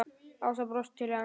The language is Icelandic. Ása brosir til hans.